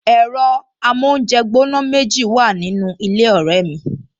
Ẹ̀rọ amóúnjẹgbóná méjì wà nínú ilé ọ̀rẹ́ mi